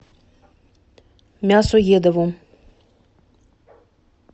мясоедову